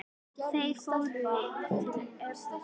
Þeir fóru til Edinborgar.